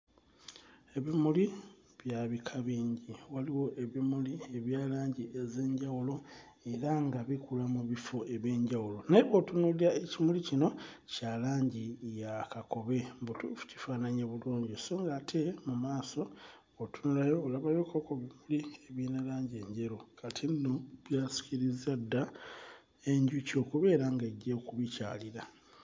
Ebimuli bya bika bingi waliwo ebimuli ebya langi ez'enjawulo era nga bikula mu bifo eby'enjawulo naye bw'otunuulira ekifo kino kya langi ya kakobe mbutuufu kifaananye bulungi so ng'ate bw'otunula olabayo kko ku bimuli ebirina langi enjeru kati nno byasikirizza dda enjuki okubeera ng'ejja okubikyalira.